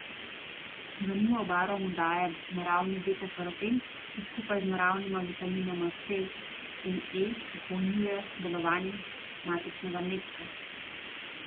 Zanimivo barvo mu daje naravni beta karoten, ki skupaj z naravnima vitaminoma C in E dopolnjuje delovanje matičnega mlečka.